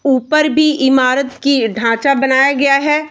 ऊपर भी इमारत की ढांचा बनाया गया है।